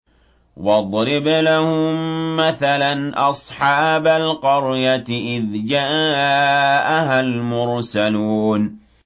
وَاضْرِبْ لَهُم مَّثَلًا أَصْحَابَ الْقَرْيَةِ إِذْ جَاءَهَا الْمُرْسَلُونَ